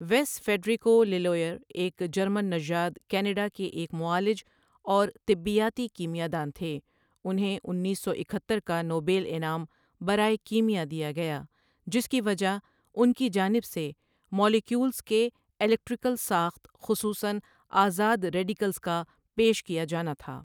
ویس ٖفیڈریکو لیلوئرایک جرمن نژاد کینیڈا کے ایک معالج اور طبیاتی کیمیاءدان تھے انھیں انیس سو اکہتر کا نوبیل انعام برائے کیمیاء دیا گیا جس کی وجہ انکی جانب سے مالیکیولز کے الیکٹریکل ساخت خصوصاََ آذاد ریڈیکلز کا پیش کیا جانا تھا۔ ـ